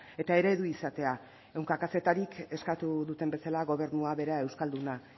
eta eredu izatea ehunka kazetarik eskatu duten bezala gobernua bera euskalduna